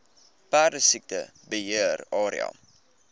perdesiekte beheer area